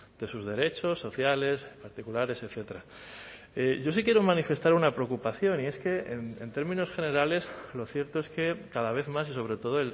de sus derechos sociales particulares etcétera yo sí quiero manifestar una preocupación y es que en términos generales lo cierto es que cada vez más y sobre todo